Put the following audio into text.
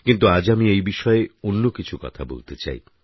কিন্তু আজ আমি এই বিষয়ে অন্য কিছু কথা বলতে চাই